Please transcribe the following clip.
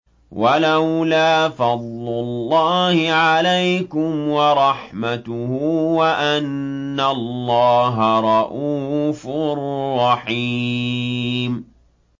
وَلَوْلَا فَضْلُ اللَّهِ عَلَيْكُمْ وَرَحْمَتُهُ وَأَنَّ اللَّهَ رَءُوفٌ رَّحِيمٌ